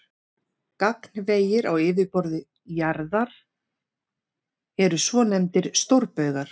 Gagnvegir á yfirborði jarðar eru svonefndir stórbaugar.